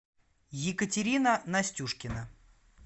екатерина настюшкина